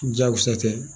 Jakusa tɛ